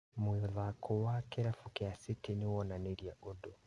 Mũthako wa kĩrabu kĩa City nĩwonanirie ũndũ